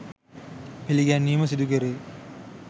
පිළිගැන්වීම සිදුකෙරේ.